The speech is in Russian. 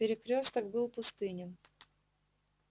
перекрёсток был пустынен